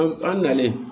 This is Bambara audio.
An an nalen